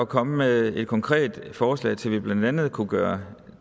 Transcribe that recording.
komme med et konkret forslag til hvad vi blandt andet kunne gøre